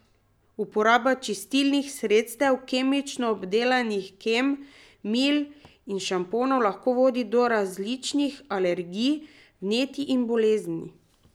Uporaba čistilnih sredstev, kemično obdelanih krem, mil in šamponov lahko vodi do različnih alergij, vnetij in bolezni.